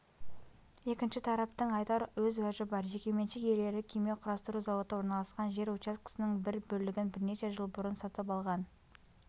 екінші тараптың айтар өз уәжі бар жекеменшік иелері кеме құрастыру зауыты орналасқан жер учаскесінің бір бөлігін бірнеше жыл бұрын сатып алған